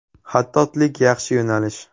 Xattotlik yaxshi yo‘nalish.